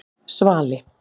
Svali